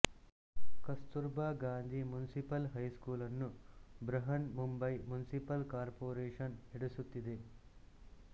ಕಸ್ತುರ್ ಬಾ Gandhi municipal high school ನ್ನು Brihanmumbai municipal corporation ನಡೆಸುತ್ತಿದೆ